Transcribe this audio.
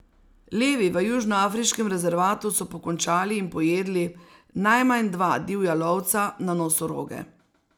Levi v južnoafriškem rezervatu so pokončali in pojedli najmanj dva divja lovca na nosoroge.